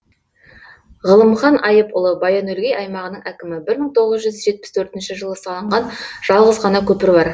ғылымхан айыпұлы баян өлгей аймағының әкімі бір мың тоғыз жүз жетпіс төртінші жылы салынған жалғыз ғана көпір бар